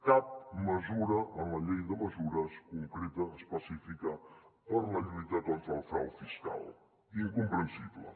cap mesura en la llei de mesures concreta específica per a la lluita contra el frau fiscal incomprensible